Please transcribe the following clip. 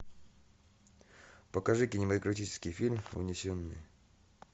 покажи кинематографический фильм унесенные